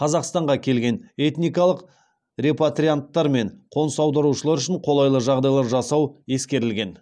қазақстанға келген этникалық репатрианттар мен қоныс аударушылар үшін қолайлы жағдайлар жасау ескерілген